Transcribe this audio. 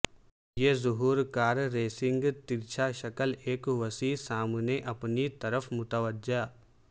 یہ ظہور car racing ترچھا شکل ایک وسیع سامنے اپنی طرف متوجہ